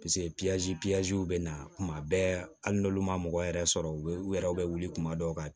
bɛ na kuma bɛɛ hali n'olu ma mɔgɔ yɛrɛ sɔrɔ u bɛ u yɛrɛw bɛ wuli kuma dɔw ka